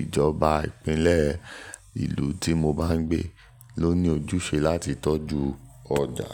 ìjọba ìpínlẹ̀ ìlú tí mo bá ń gbé ló ní ojúṣe láti tọ́jú ọjà."